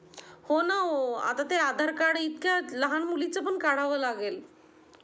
होना.. हो आता ते आधार कार्ड इतक्या लहान मुलीच पण काढावं लगेल.